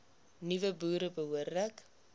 nuwe boere behoorlik